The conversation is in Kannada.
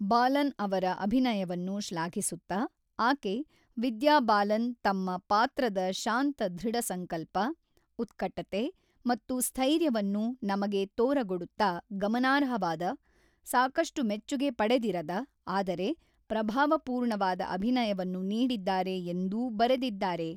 ಬಾಲನ್ ಅವರ ಅಭಿನಯವನ್ನು ಶ್ಲಾಘಿಸುತ್ತಾ, ಆಕೆ, ವಿದ್ಯಾ ಬಾಲನ್ ತಮ್ಮ ಪಾತ್ರದ ಶಾಂತ ದೃಢಸಂಕಲ್ಪ, ಉತ್ಕಟತೆ ಮತ್ತು ಸ್ಥೈರ್ಯವನ್ನು ನಮಗೆ ತೋರಗೊಡುತ್ತಾ ಗಮನಾರ್ಹವಾದ, ಸಾಕಷ್ಟು ಮೆಚ್ಚುಗೆ ಪಡೆದಿರದ, ಆದರೆ, ಪ್ರಭಾವಪೂರ್ಣವಾದ ಅಭಿನಯವನ್ನು ನೀಡಿದ್ದಾರೆ ಎಂದೂ ಬರೆದಿದ್ದಾರೆ.